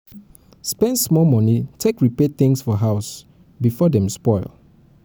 spend small money take repair things for house before dem spoil